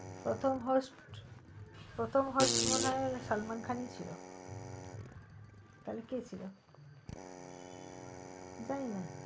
প্রথম host প্রথম host মনে হয় সালমান খানি ছিল তাহলে কে ছিল জানি না